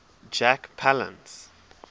jack palance